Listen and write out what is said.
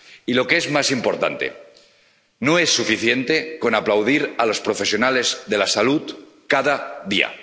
Y lo que es más importante no es suficiente con aplaudir a los profesionales de la salud, cada día.